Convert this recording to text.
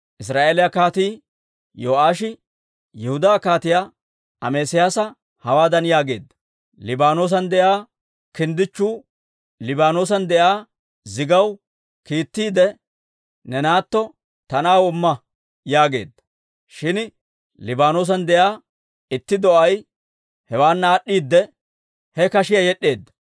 Israa'eeliyaa Kaatii Yo'aashi Yihudaa Kaatiyaa Amesiyaasa hawaadan yaageedda; «Liibaanoosan de'iyaa kinddichchu Liibaanoosan de'iyaa zigaw kiittiide, ‹Ne naatto ta na'aw imma› yaageedda. Shin Liibaanoosan de'iyaa itti do'ay hewaana aad'd'iide, he kashiyaa yed'd'eedda.